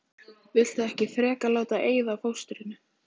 Viltu ekki frekar láta eyða fóstrinu?